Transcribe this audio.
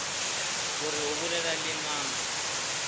gore o bolela le mang